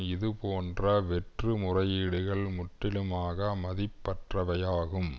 இது போன்ற வெற்று முறையீடுகள் முற்றிலுமாக மதிப்பற்றவையாகும்